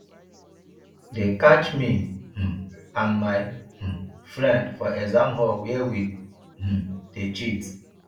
dey catch me um and my um friend for exam hall where we um dey cheat